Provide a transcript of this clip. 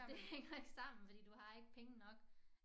Det hænger ikke sammen fordi du har ikke penge nok